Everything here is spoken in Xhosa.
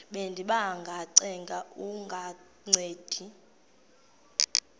bendiba ngacenga kungancedi